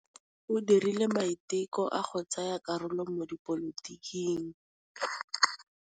O dirile maitekô a go tsaya karolo mo dipolotiking.